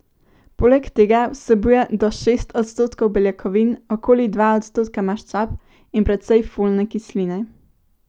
Poleg tega vsebuje do šest odstotkov beljakovin, okoli dva odstotka maščob in precej folne kisline.